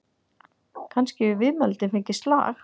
Kannski hefur viðmælandinn fengið slag?